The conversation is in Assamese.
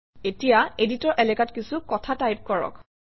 এতিয়া এডিটৰ এলেকাত কিছু কথা টাইপ কৰক